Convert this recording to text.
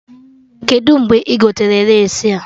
Kedụ mgbe ị gotere lace a?